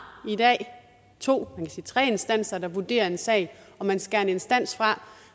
to tre instanser der vurderer en sag og man skærer en instans fra